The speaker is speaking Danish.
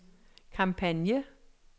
kampagne